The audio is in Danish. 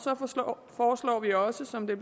foreslår vi også som det